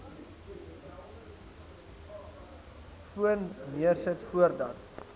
foon neersit voordat